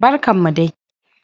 Barkan mu dai!